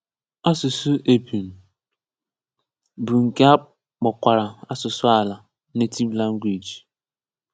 Asụsụ épum, bụ nke a kpọkwara asụsụ àlà (native language).